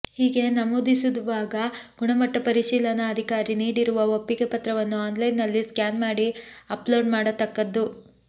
ಹೀಗೆ ನಮೂದಿಸುವಾಗ ಗುಣಮಟ್ಟಪರಿಶೀಲನಾ ಅಧಿಕಾರಿ ನೀಡಿರುವ ಒಪ್ಪಿಗೆ ಪತ್ರವನ್ನು ಆನ್ಲೈನ್ ನಲ್ಲಿ ಸ್ಕ್ಯಾನ್ ಮಾಡಿ ಅಪ್ ಲೋಡ್ ಮಾಡತಕ್ಕದ್ದು